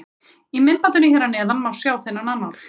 Í myndbandinu hér að neðan má sjá þennan annál.